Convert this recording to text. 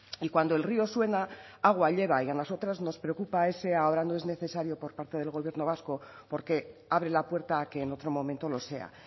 y cuando el río suena agua lleva y a nosotras nos preocupa ese ahora no es necesario por parte del gobierno vasco porque abre la puerta a que en otro momento lo sea